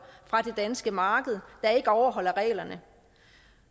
fra det danske marked der ikke overholder reglerne